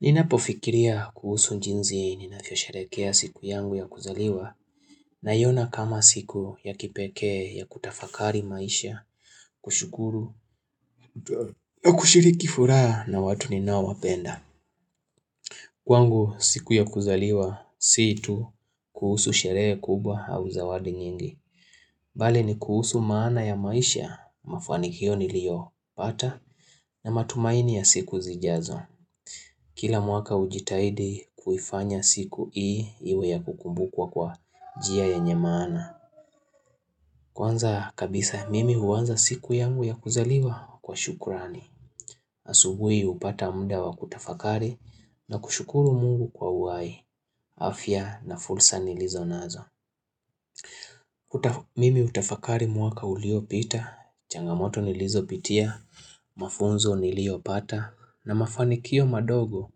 Ninapofikiria kuhusu njinzi ninavyo sherekea siku yangu ya kuzaliwa naiona kama siku ya kipeeke ya kutafakari maisha kushukuru na kushiriki furaha na watu ni nao wapenda. Kwangu siku ya kuzaliwa siitu kuhusu sherehe kubwa au zawadi nyingi. Bale ni kuhusu maana ya maisha mafaanikio nilio pata na matumaini ya siku zijazo. Kila mwaka ujitahidi kuifanya siku hii iwe ya kukumbukwa kwa njia yenye maana. Kwanza kabisa mimi huanza siku yangu ya kuzaliwa kwa shukurani. Asubui hupata mda wa kutafakari na kushukuru mungu kwa uhai. Afya na fursa nilizo nazo. Mimi utafakari mwaka uliopita, changamoto nilizopitia, mafunzo niliopata na mafanikio madogo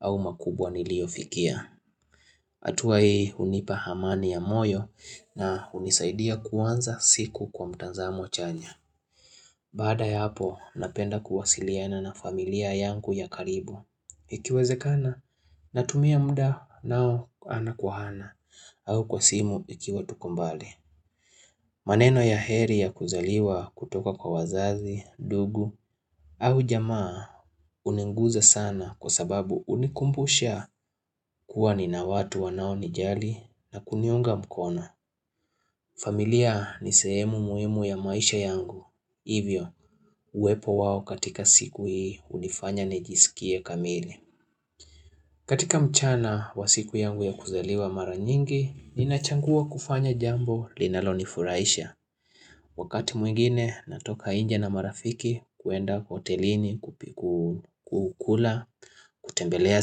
au makubwa niliofikia. Hatuwa hii hunipa amani ya moyo na hunisaidia kuanza siku kwa mtanzamo chanya Bada yahapo napenda kuwasiliana na familia yangu ya karibu Ikiwezekana natumia muda nao ana kwa ana au kwa simu ikiwa tuko mbali maneno ya heri ya kuzaliwa kutoka kwa wazazi, dugu au jamaa huninguza sana kwa sababu hunikumbusha kuwa ni na watu wanao nijali na kuniunga mkono. Familia ni sehemu muhimu ya maisha yangu. Hivyo, uwepo wawo katika siku hii unifanya nijisikie kamili. Katika mchana wa siku yangu ya kuzaliwa mara nyingi, ninachangua kufanya jambo linalo nifuraisha. Wakati mwingine, natoka nje na marafiki, kuwenda kotelini, kukula, kutembelea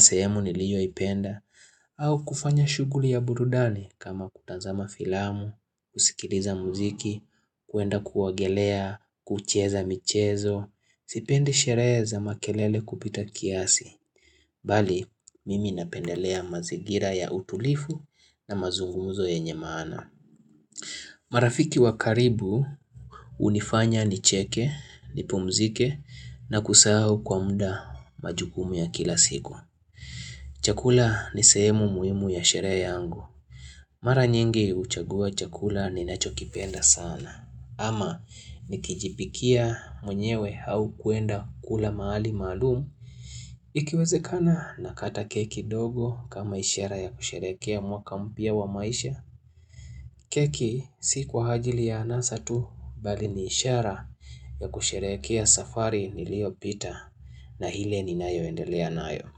sehemu niliyoipenda, au kufanya shuguli ya burudani kama kutanzama filamu, kusikiliza muziki, kuenda kuogelea, kucheza michezo, sipendi sherehe za makelele kupita kiasi. Bali, mimi napendelea mazigira ya utulifu na mazunguzo yenye maana. Marafiki wakaribu, hunifanya nicheke, nipumzike, nakusahu kwa mda majukumu ya kila siku. Chakula ni sehemu muhimu ya sherehe yangu. Mara nyingi huchagua chakula ni nacho kipenda sana. Ama nikijipikia mwenyewe au kuenda kula mahali maalumu Ikiwezekana nakata keki ndogo kama ishara ya kusherekea mwaka mpya wa maisha keki si kwa hajili ya anasa tu bali ni ishara ya kusherekea safari niliyopita na ile ni nayo endelea nayo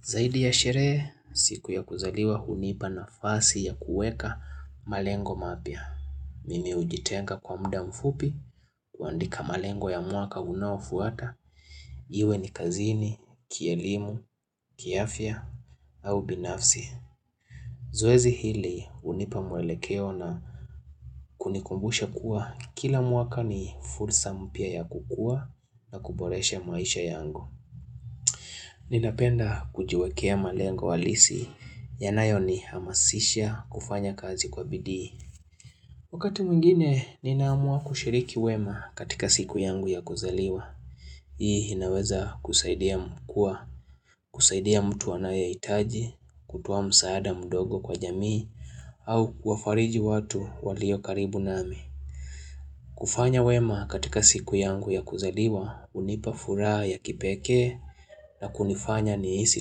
Zaidi ya sherehe siku ya kuzaliwa hunipa nafasi ya kuweka malengo mapya Mimi hujitenga kwa muda mfupi, kuandika malengo ya mwaka unawafuata, iwe ni kazini, kielimu, kiafia, au binafsi. Zoezi hili hunipa mwelekeo na kunikumbusha kuwa kila mwaka ni fursa mpya ya kukua na kuboresha maisha yangu. Ninapenda kujiwekea malengo halisi, yanayo nihamasisha kufanya kazi kwa bidii. Wakati mwingine, ninaamua kushiriki wema katika siku yangu ya kuzaliwa. Hii inaweza kusaidia mkuwa, kusaidia mtu anayehitaji, kutua msaada mdogo kwa jamii, au kufariji watu walio karibu nami. Kufanya wema katika siku yangu ya kuzaliwa, hunipa furaha ya kipeke na kunifanya nihisi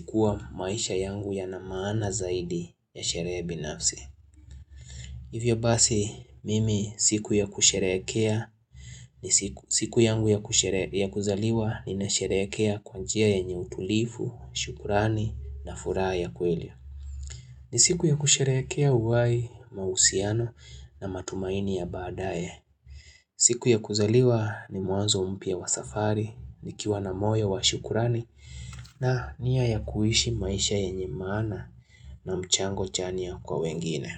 kuwa maisha yangu yana maana zaidi ya sherehe binafsi. Hivyo basi mimi siku ya kusherekea ni siku yangu ya kuzaliwa ninasherekea kwa njia yenye utulivu, shukurani na furaha ya kweli. Ni siku ya kusherekea uhai mausiano na matumaini ya baadae. Siku ya kuzaliwa ni mwanzo mpya wa safari, nikiwa na moyo wa shukurani na niya ya kuishi maisha yenye maana na mchango chania kwa wengine.